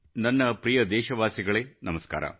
ನನ್ನ ಪ್ರಿಯ ದೇಶವಾಸಿಗಳೇ ನಮಸ್ಕಾರ